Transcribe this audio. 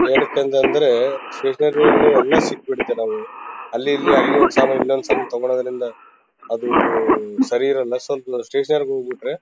ಏನಕ್ಕೆ ಅಂತ ಅಂದ್ರೆ ಸ್ಟೇಷನರಿ ಯಲ್ಲಿ ಎಲ್ಲ ಸಿಕ್ಬಿಡತ್ತೆ ನಾವು ಅಲ್ಲಿ ಇಲ್ಲಿ ಅಲ್ಲಿ ಒಂದು ಸಾಮಾನು ಇಲ್ಲಿ ಒಂದು ಸಾಮಾನು ತಗೋಳ್ಳೋದ್ರಿಂದ ಅದು ಸರಿ ಇರಲ್ಲ ಸ್ವಲ್ಪ ಸ್ಟೇಷನರಿ ಗೆ ಹೋಗ್ಬಿಟ್ರೆ.